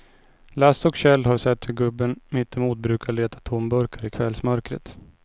Lasse och Kjell har sett hur gubben mittemot brukar leta tomburkar i kvällsmörkret.